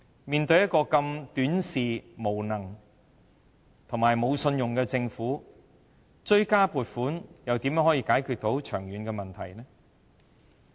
面對如此短視、無能、無信用的政府，追加撥款又如何能解決長遠問題？